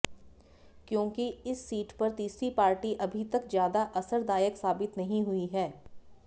क्योंकि इस सीट पर तीसरी पार्टी अभी तक ज्यादा असरदायक साबित नहीं हुई हैं